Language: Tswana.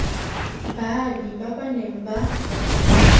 baabi ba ba neng ba